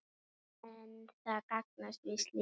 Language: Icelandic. En það gagnast víst lítið.